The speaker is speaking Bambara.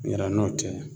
Ɲinan n'o tɛ